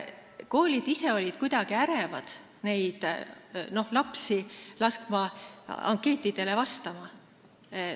Koolid olid kuidagi ärevil, kui palusime lasta lastel ankeetidele vastata.